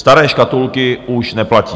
Staré škatulky už neplatí.